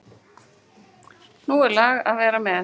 Nú er lag að vera með!